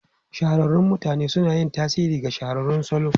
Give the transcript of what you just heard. Shahararrun mutane suna yin tasiri ga shahararrun salo.